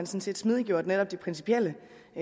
set smidiggjort netop de principielle